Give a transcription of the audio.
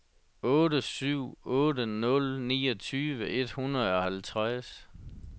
otte syv otte nul niogtyve et hundrede og halvtreds